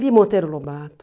Li Monteiro Lobato.